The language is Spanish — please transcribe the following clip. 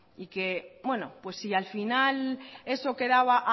y que bueno pues si al final eso quedaba